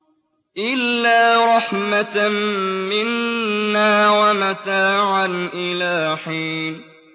إِلَّا رَحْمَةً مِّنَّا وَمَتَاعًا إِلَىٰ حِينٍ